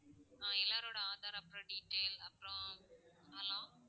ஆஹ் எல்லோரோட ஆதார், அப்பறம் detail அப்பறம் hello